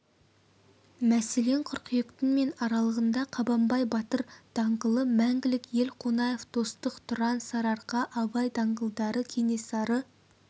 мәселен қыркүйектің мен аралығында қабанбай батыр даңғылы мәңгілік ел қонаев достық тұран сарыарқа абай даңғылдары кенесары